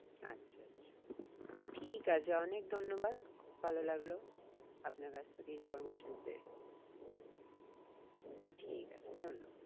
আচ্ছা আচ্ছা ঠিক আছে অনেক ধন্যবাদ খুব ভালো লাগলো আপনার কাছ থেকে information পেয়ে ঠিক আছে ধন্যবাদ।